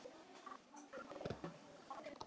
Haukur: Er hann góður?